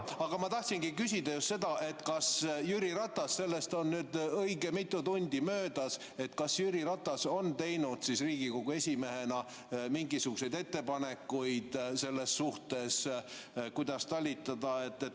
Aga ma tahtsingi küsida seda, kas Jüri Ratas – sellest on nüüd õige mitu tundi möödas – on teinud Riigikogu esimehena mingisuguseid ettepanekuid selles suhtes, kuidas talitada.